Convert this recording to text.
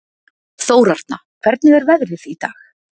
Þórarna, hvernig er veðrið í dag?